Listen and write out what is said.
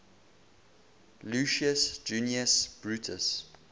lucius junius brutus